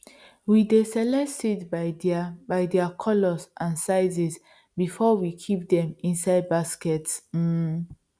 we dey select seeds by their by their colours and sizes before we kip dem inside baskets um